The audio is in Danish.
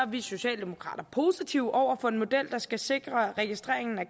vi socialdemokrater positive over for en model der skal sikre registreringen af